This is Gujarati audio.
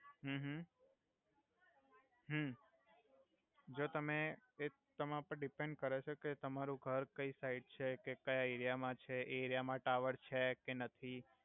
હુ હુ હુ જો તમે એ તમાર પર ડીપેન કરે છે કે તમારુ ઘર કઈ સાઇડ છે કે ક્યા એરિઆ મા છે એ એરિઆ મા ટાવર છે કે નથી